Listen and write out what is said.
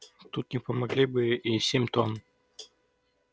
тут не помогли бы и семь тонн